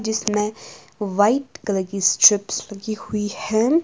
जिसमें white colour की strips लगी हुई हैं।